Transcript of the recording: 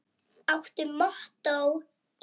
Áttu mottó í lífinu?